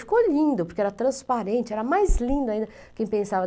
Ficou lindo, porque era transparente, era mais lindo ainda do que eu pensava.